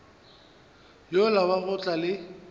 yola wa go tla le